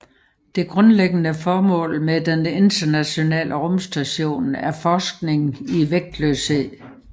Det grundlæggende formål med den Internationale Rumstation er forskning i vægtløshed